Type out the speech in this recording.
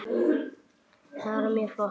Það var mjög flott.